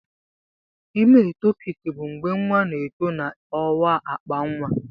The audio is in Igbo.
Ime etopik bụ mgbe nwa na-eto na ọwa akpa nwa.